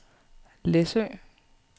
Læsø